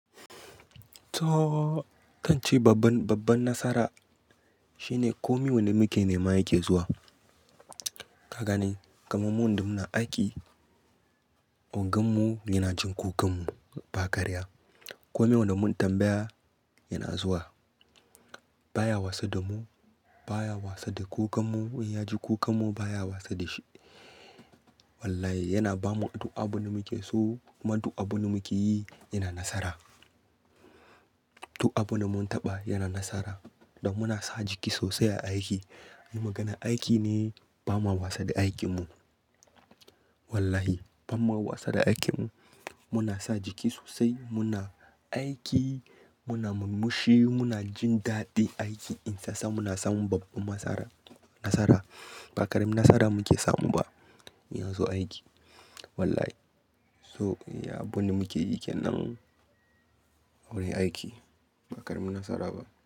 To, zan ce babban, babban nasara, shine komai wanda muke nema yake zuwa. Ka gane, kamar mu wanda muna aiki, oganmu yana jin kukanmu, ba karya. Komai wanda mun tambaya yana zuwa. Ba ya wasa da mu, ba ya wasa da kukanmu. In ya ji kukanmu ba ya wasa da shi. Wallahi, yana bamu duk abin da muke so, kuma duk abin da muke yi yana nasara. Duk abin da mun taɓa yana nasara, don muna sa jiki sosai a aiki. In maganar aiki ne, ba mawa wasa da aikimu. Wallahi, ba ma wasa da aikimu. Muna sa jiki sosai, muna aiki, muna murmushi, muna jin daɗin aiki. Insa sa muna samun babban masara-- nasara. Ba karamin nasara muke samu ba, in ya zo aiki. Wallahi. So, iya abun da muke yi kenan, wurin aiki, ba karamin nasara ba.